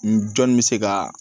N jɔn bɛ se ka